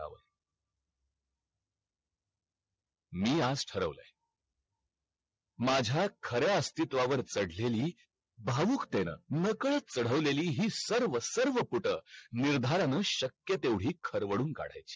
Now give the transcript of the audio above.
मी आज ठरवलंय माझा खर्या अस्तित्व्हावर चढलेली भावुकतेनं नकळत चढवलेली हि सरव सरव पुठ निर्धार्यना शक्य तेव्हडी खरवडून कड्याची